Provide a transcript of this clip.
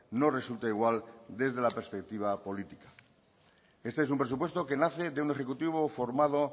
no resulta igual desde la perspectiva política este es un presupuesto que nace de un ejecutivo formado